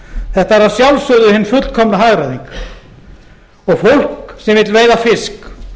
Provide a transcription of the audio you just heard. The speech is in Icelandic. þetta var að sjálfsögðu hin fullkomna hagræðing og fólk sem vill veiða fisk